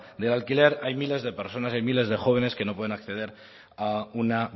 del alquiler hay miles de personas hay miles de jóvenes que no pueden acceder a una